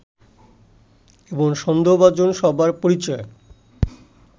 এবং সন্দেহভাজন সবার পরিচয়